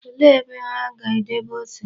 Olee ebe ha ga-edebe ose?